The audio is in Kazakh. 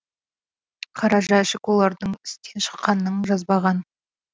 қара жәшік олардың істен шыққанын жазбаған